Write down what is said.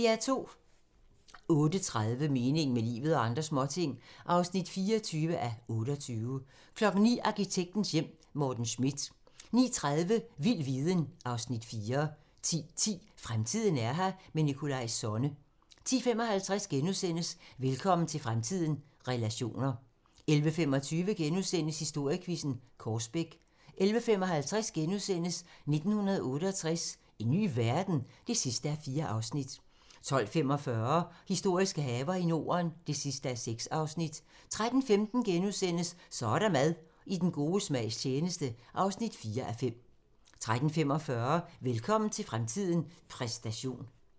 08:30: Meningen med livet - og andre småting (24:28) 09:00: Arkitektens hjem: Morten Schmidt 09:30: Vild viden (Afs. 4) 10:10: Fremtiden er her - med Nikolaj Sonne 10:55: Velkommen til fremtiden - relationer * 11:25: Historiequizzen: Korsbæk * 11:55: 1968 - en ny verden? (4:4)* 12:45: Historiske haver i Norden (6:6) 13:15: Så er der mad - i den gode smags tjeneste (4:5)* 13:45: Velkommen til fremtiden - præstation